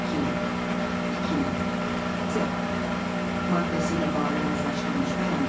İki, iki C maddəsi ilə bağlı razılaşdırılmış bəyanat.